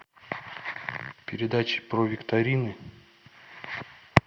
передачи про викторины